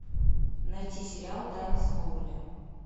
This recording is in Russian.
найти сериал тайны смолвиля